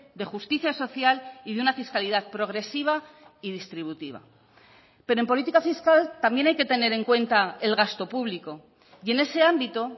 de justicia social y de una fiscalidad progresiva y distributiva pero en política fiscal también hay que tener en cuenta el gasto público y en ese ámbito